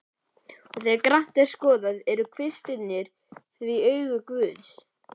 Og þegar grannt er skoðað, eru kvistirnir því augu guðs.